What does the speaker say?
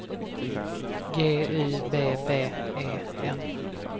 G U B B E N